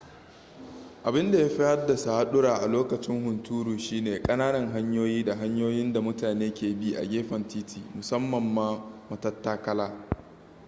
abin da ya fi haddasa hadura a lokacin hunturu shi ne kananan hanyoyi da hanyoyin da mutane ke bi a gefen titi musamman ma matattakala